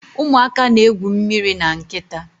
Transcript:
Ụmụaka na-egwu mmiri na nkịta